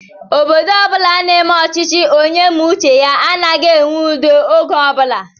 Obodo ọbula n'eme ọchịchị onye méé uche ya anaghị enwe udo ógè ọbula